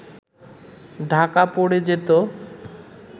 ঢাকা পড়ে যেত